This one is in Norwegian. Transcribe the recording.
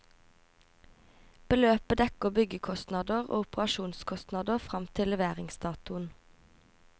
Beløpet dekker byggekostnader og operasjonskostnader frem til leveringsdatoen.